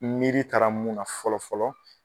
N miiri taara mun na fɔlɔ fɔlɔ